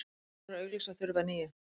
Telur að auglýsa þurfi að nýju